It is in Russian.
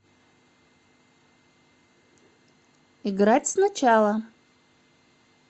играть сначала